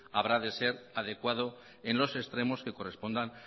habrá de ser adecuado en los extremos que correspondan